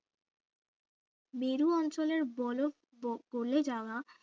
মেরু অঞ্চলের বরফ বো গলে যাওয়া